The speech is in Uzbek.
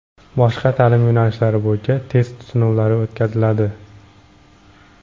boshqa taʼlim yo‘nalishlari bo‘yicha test sinovlari o‘tkaziladi.